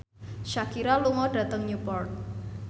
Shakira lunga dhateng Newport